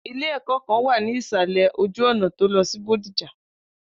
Ile ẹ̀kọ́ kan wà ní ìsàlè ojú ọ̀nà tó lọ sí bodija